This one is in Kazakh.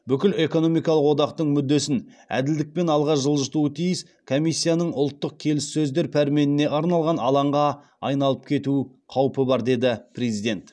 бүкіл экономикалық одақтың мүддесін әділдікпен алға жылжытуы тиіс комиссияның ұлттық келіссөздер пәрменіне арналған алаңға айналып кету қаупі бар деді президент